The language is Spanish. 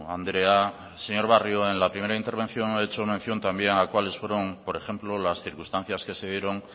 andrea señor barrio en la primera intervención he hecho mención también a cuáles fueron por ejemplo las circunstancias que se dieron